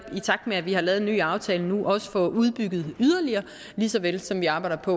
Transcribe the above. i takt med at vi har lavet en ny aftale nu også får udbygget yderligere lige så vel som vi arbejder på